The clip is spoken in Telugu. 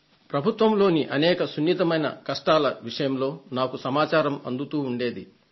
ప్రభుత్వంలోని అనేక సున్నితమైన కష్టాల విషయంలో నాకు సమాచారం అందుతూ ఉండేది